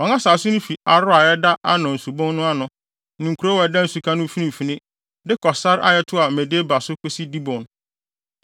Wɔn asase no fi Aroer a ɛda Arnon Subon no ano (ne kurow a ɛda nsuka no mfimfini) de kɔ sare a ɛtoa Medeba so kosi Dibon.